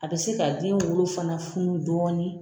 A bɛ se ka den wolo fana funu dɔɔnin